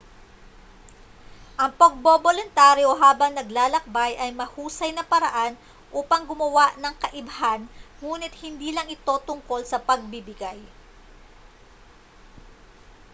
ang pagboboluntaryo habang naglalakbay ay mahusay na paraan upang gumawa ng kaibhan nguni't hindi lang ito tungkol sa pagbibigay